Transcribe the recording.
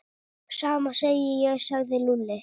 Sama segi ég sagði Lúlli.